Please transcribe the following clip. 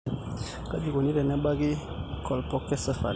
Kaji eikoni tenebaki colpocephaly?